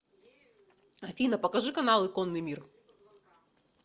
афина покажи каналы конный мир